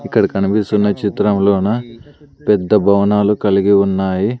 ఇక్కడ కనిపిస్తున్న చిత్రంలో నా పెద్ద భవనాలు కలిగి ఉన్నాయి.